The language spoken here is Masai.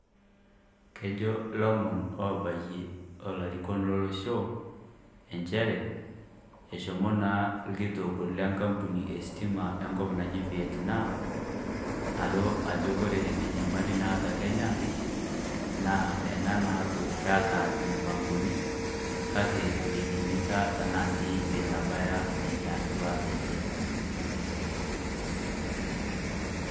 Kejo lomon obayie o larikon lolosho, a nchere eshomo naa ilkitok lekampuni estima lenkop naji Vietnam, alo ajo ore enyamali naata Kenya, naa ena naaku keata impangoni kake meitimisha tenaa sii meitabaya nena duat enche,